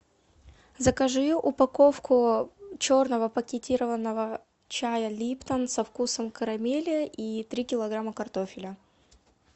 закажи упаковку черного пакетированного чая липтон со вкусом карамели и три килограмма картофеля